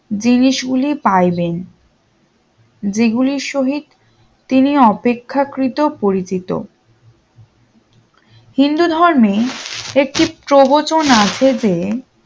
জিনিস গুলি পাইবেন যেগুলির শহীদ তিনি অপেক্ষা কৃত পরিচিত হিন্দু ধর্মেও একটি প্রবচন আছে যে